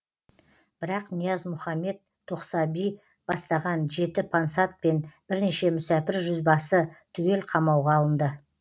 бірақ ниязмұхаммед тоқсаби бастаған жеті пансат пен бірнеше мүсәпір жүзбасы түгел қамауға алынды